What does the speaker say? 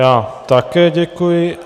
Já také děkuji.